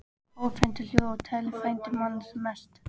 Áhorfendur hlógu og Tolli frændi manna mest.